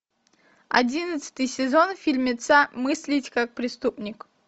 одиннадцатый сезон фильмеца мыслить как преступник